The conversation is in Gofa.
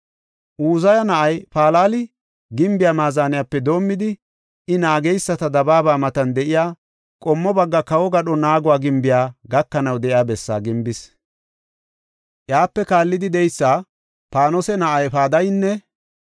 Uzaya na7ay Palali gimbiya maazaniyape doomidi, I naageysata dabaaba matan de7iya qommo bagga kawo gadho naago gimbiya gakanaw de7iya bessaa gimbis. Iyape kaallidi de7eysa Paanose na7ay Padaynne